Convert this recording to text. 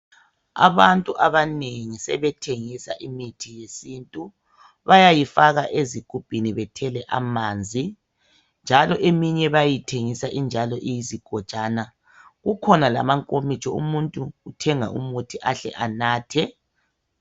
Abantu abanengi sebethengisa imithi yesintu. Bayayifaka ezigubhini bethele amanzi. Njalo eminye bayithengisa iyizigojana, kukhona lamankomitsho umuntu uthenga umuthi ahle anathe.